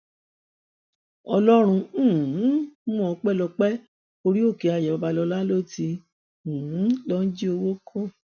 ọlọrun um mú ọpẹyẹmi o orí òkè ayọ babalọla ló ti um lọọ jí owó kó